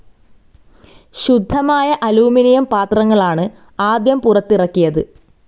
ശുദ്ധമയ aluminium പാത്രങ്ങളാണ് ആദ്യം പുറത്തിറക്കിയത്.